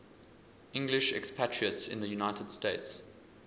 english expatriates in the united states